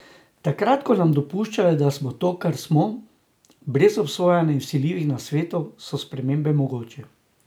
Takrat ko nam je dopuščeno, da smo to, kar smo, brez obsojanja in vsiljivih nasvetov, so spremembe mogoče.